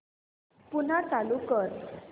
पुन्हा चालू कर